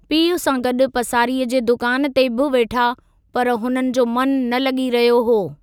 पीउ सां गॾु पसारीअ जे दुकान ते बि वेठा, पर हुननि जो मनु न लगी॒ रहियो हो।